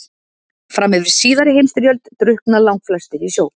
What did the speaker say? Fram yfir síðari heimsstyrjöld drukkna langflestir í sjó.